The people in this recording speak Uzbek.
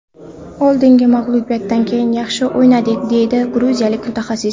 Oldingi mag‘lubiyatdan keyin yaxshi o‘ynadik”, dedi gruziyalik mutaxassis.